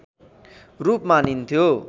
रूप मानिन्थ्यो